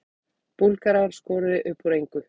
Búlgarar skoruðu upp úr engu